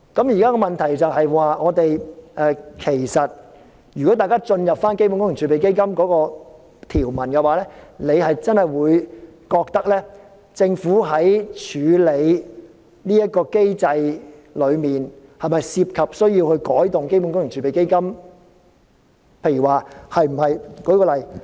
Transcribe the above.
現在的問題是，如果大家看看基本工程儲備基金的條文，便真的會認為政府在處理這個機制上，是否需要對基本工程儲備基金作改動呢？